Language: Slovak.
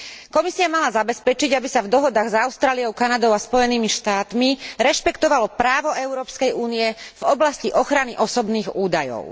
Komisia mala zabezpečiť, aby sa v dohodách s Austráliou, Kanadou a Spojenými štátmi rešpektovalo právo Európskej únie v oblasti ochrany osobných údajov.